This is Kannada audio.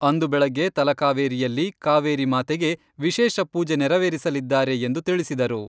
ಅಂದು ಬೆಳಗ್ಗೆ ತಲಕಾವೇರಿಯಲ್ಲಿ ಕಾವೇರಿ ಮಾತೆಗೆ ವಿಶೇಷ ಪೂಜೆ ನೆರವೇರಿಸಲಿದ್ದಾರೆ ಎಂದು ತಿಳಿಸಿದರು.